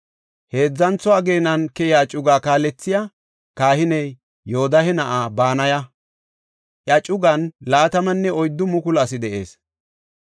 Heedzantho ageenan keyiya cugaa kaalethey kahiniya Yoodahe na7aa Banaya; iya cugan 24,000 asi de7ees.